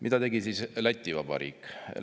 Mida tegi Läti Vabariik?